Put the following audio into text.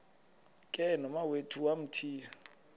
ke nomawethu wamthiya